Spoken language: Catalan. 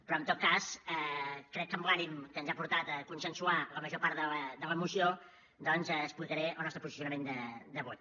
però en tot cas crec que amb l’ànim que ens ha portat a consensuar la major part de la moció doncs explicaré el nostre posicionament de vot